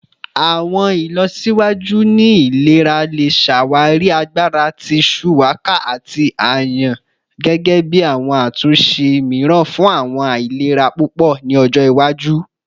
Awọn ilọsiwaju ni ilera le ṣawari agbara ti shuwaka ati ayan gẹgẹbi awọn atunṣe miiran fun awọn ailera pupọ ni ojo iwaju.